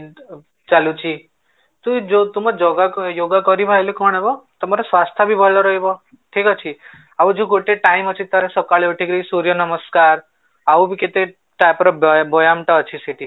ଚାଲୁଛି ତ ଯୋଉ ତୁମେ yoga କରିବ ଆଇଲେ କଣ କରିବ ତୁମର ସ୍ୱାସ୍ଥ୍ୟ ଭଲ ରହିବ ଠିକ ଅଛି, ଆଉ ଯୋଉ ଗୋଟେ time ଅଛି ତାର ସକାଳେ ଉଠିକି ସୂର୍ଯ୍ୟ ନମସ୍କାର ଆଉ ବି କେତେ ତାପରେ ବୟାନ ଟା ଅଛି ସେଠି